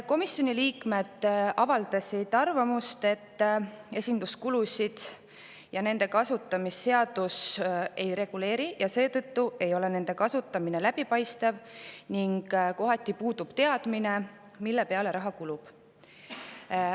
Komisjoni liikmed avaldasid arvamust, et esinduskulusid ja nende kasutamist seadus ei reguleeri ja seetõttu ei ole kasutamine läbipaistev ning kohati puudub teadmine, mille peale raha kulub.